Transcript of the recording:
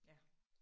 Ja